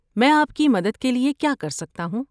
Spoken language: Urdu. میں آپ کی مدد کے لیے کیا کر سکتا ہوں؟